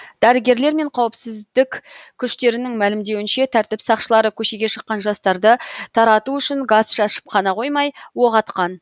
дәрігерлер мен қауіпсіздік күштерінің мәлімдеуінше тәртіп сақшылары көшеге шыққан жастарды тарату үшін газ шашып қана қоймай оқ атқан